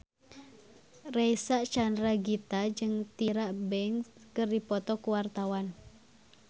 Reysa Chandragitta jeung Tyra Banks keur dipoto ku wartawan